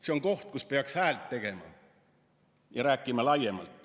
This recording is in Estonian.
See on koht, kus peaks häält tegema ja rääkima laiemalt.